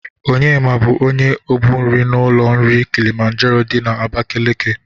Onyema bụ onye obu nri n'ụlọ nri Kịlịmanjero dị na Abakeleke.